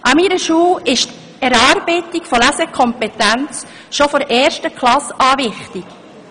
An meiner Schule ist die Erarbeitung der Lesekompetenz schon von der ersten Klasse an wichtig.